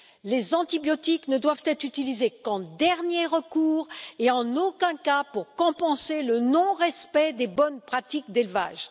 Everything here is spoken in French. Les antibiotiques ne doivent être utilisés qu'en dernier recours et en aucun cas pour compenser le non respect des bonnes pratiques d'élevage.